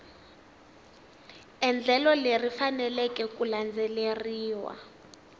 endlelo leri faneleke ku landzeleriwa